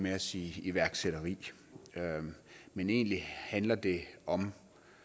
at sige iværksætteri men egentlig handler det om